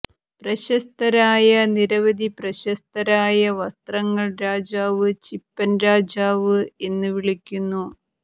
പ്രശസ്തരായ നിരവധി പ്രശസ്തരായ വസ്ത്രങ്ങൾ രാജാവ് ചിപ്പൻ രാജാവ് എന്ന് വിളിക്കുന്നു